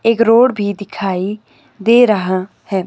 एक रोड भी दिखाई दे रहा है।